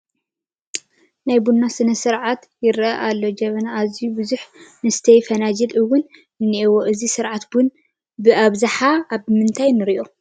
ናይ ቡና ስነ ስርዓት ይርአ ኣሎ፡፡ ጀበናን ኣዝዮም ብዙሓት መስተዪ ፍንጃላትን እውን እኒአዉ፡፡ እዚ ስርዓት ቡና ብኣብዝሓ ኣብ ምንታይ ንሪኦ?